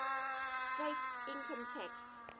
state income tax